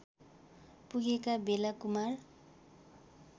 पुगेका बेला कुमार